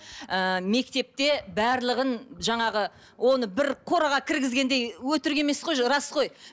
ііі мектепте барлығын жаңағы оны бір қораға кіргізгендей өтірік емес қой рас қой